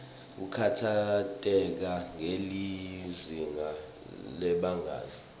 kukhatsateka ngelizinga lebangani